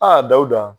Aa dawuda